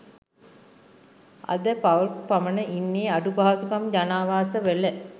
අද පවුල්ක් පමණ ඉන්නෙ අඩු පහසුකම් ජනාවාස වල